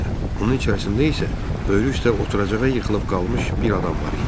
Onun içərisində isə böyür üstə oturacağa yıxılıb qalmış bir adam var idi.